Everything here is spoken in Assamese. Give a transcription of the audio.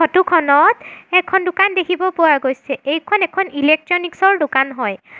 ফটোখনত এখন দোকান দেখিব পোৱা গৈছে এইখন এখন ইলেকট্ৰনিকছৰ দোকান হয়।